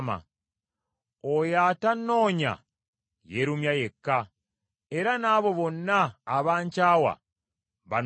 Oyo atannoonya yeerumya yekka, era n’abo bonna abankyawa banoonya kufa.